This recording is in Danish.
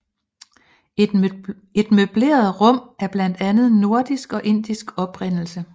Et møbleret rum af blandet nordisk og indisk oprindelse